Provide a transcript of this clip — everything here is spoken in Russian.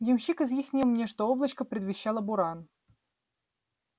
ямщик изъяснил мне что облачко предвещало буран